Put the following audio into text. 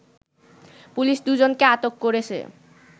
police দুজনকে আটক করেছে